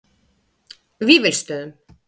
Vífilsstöðum